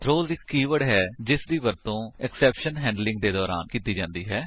throws ਇੱਕ keyword ਹੈ ਜਿਸਦੀ ਵਰਤੋ ਐਕਸੈਪਸ਼ਨ ਹੈਂਡਲਿੰਗ ਦੇ ਦੌਰਾਨ ਕੀਤੀ ਜਾਂਦੀ ਹੈ